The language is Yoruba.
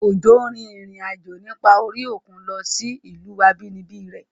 Ọ̀jọ́ rin ìrìn àjò nípa orí òkun lọ sí ìlú àbínibí rẹ̀